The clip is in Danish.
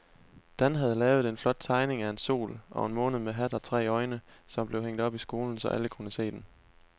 Dan havde lavet en flot tegning af en sol og en måne med hat og tre øjne, som blev hængt op i skolen, så alle kunne se den.